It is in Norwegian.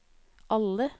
alle